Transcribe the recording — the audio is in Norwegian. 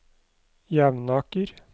Jevnaker